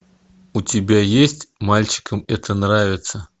у тебя есть мальчикам это нравится